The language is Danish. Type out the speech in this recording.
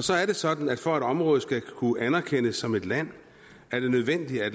så er det sådan at for at et område skal kunne anerkendes som et land er det nødvendigt at